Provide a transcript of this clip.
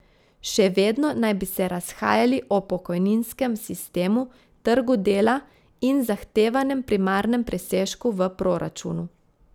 Še vedno naj bi se razhajali o pokojninskem sistemu, trgu dela in zahtevanem primarnem presežku v proračunu.